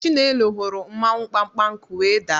Chinelo hụrụ mmawụ mkpamkpanku wee daa.